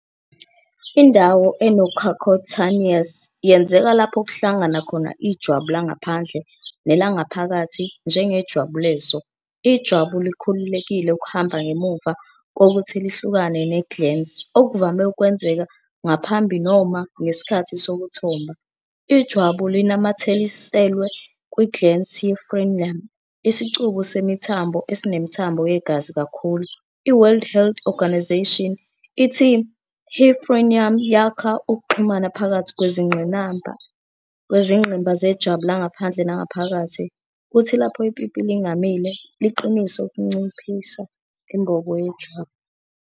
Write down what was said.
Indawo enocucutaneous yenzeka lapho kuhlangana khona ijwabu langaphandle nelangaphakathi. Njengejwabu leso, ijwabu likhululekile ukuhamba ngemuva kokuthi lihlukane ne- glans, okuvame ukwenzeka ngaphambi noma ngesikhathi sokuthomba. Ijwabu linamathiselwe kwi-glans yi- frenulum, isicubu semithambo esinemithambo yegazi kakhulu. I-World Health Organisation ithi " he frenulum yakha ukuxhumana phakathi kwezingqimba zejwabu langaphandle nangaphakathi, kuthi lapho ipipi lingamile, liqinise ukunciphisa imbobo yejwabu.